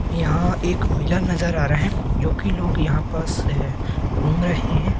यहां एक मेला नजर आ रहा है जोकि लोग यहां पास ये घूम रहे हैं।